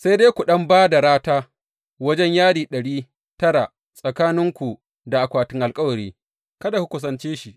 Sai dai ku ɗan ba da rata wajen yadi ɗari tara tsakaninku da akwatin alkawari, kada ku kusace shi.